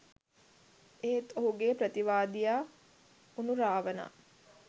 එත් ඔහුගේ ප්‍රතිවාදියා වුනු රාවණා